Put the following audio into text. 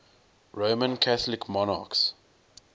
roman catholic monarchs